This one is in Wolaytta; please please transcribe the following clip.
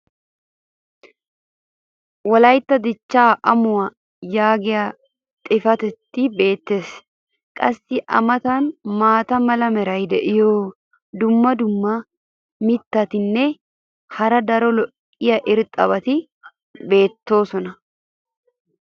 wolaytta dichaa amuwa yaagiya xifatee beetees. qassi a matan maata mala meray diyo dumma dumma mitatinne hara daro lo'iya irxxabati beetoosona.